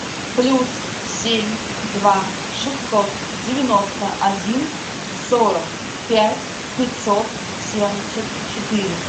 плюс семь два шестьсот девяносто один сорок пять пятьсот семьдесят четыре